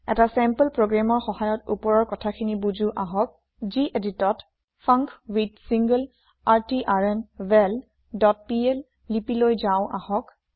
এটা চেম্পল প্ৰগ্ৰেমৰ সহায়ত উপৰৰ কথাখিনি বুজো আহক যিএদিটত ফাংকুইথছিংলাৰট্ৰ্নভেল ডট পিএল লিপি লৈ যাও আহক